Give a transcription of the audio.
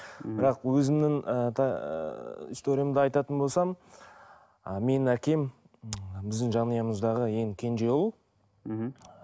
мхм бірақ өзімнің ы ыыы историямды айтатын болсам ы менің әкем біздің жанұямыздағы ең кенже ұл мхм